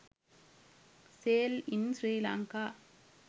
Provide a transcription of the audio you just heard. sale in srilanka